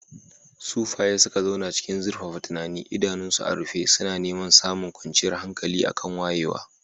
Sufaye suka zauna cikin zurfafa tunani, idanunsu a rufe suna neman samun kwanciyar hankali a kan wayewa.